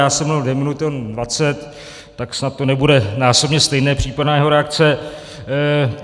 Já jsem mluvil dvě minuty, on dvacet, tak snad to nebude násobně stejné, případná jeho reakce.